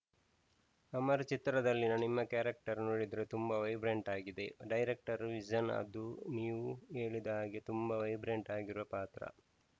ಅಮರ್‌ ಚಿತ್ರದಲ್ಲಿನ ನಿಮ್ಮ ಕ್ಯಾರೆಕ್ಟರ್‌ ನೋಡಿದ್ರೆ ತುಂಬಾ ವೈಬ್ರೆಂಟ್‌ ಆಗಿದೆ ಡೈರೆಕ್ಟರ್‌ ವಿಷನ್‌ ಅದು ನೀವ್‌ ಹೇಳಿದ ಹಾಗೆ ತುಂಬಾ ವೈಬ್ರೆಂಟ್‌ ಆಗಿರುವ ಪಾತ್ರ